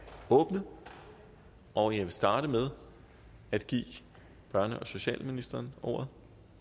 åbnet og jeg vil starte med at give børne og socialministeren ordet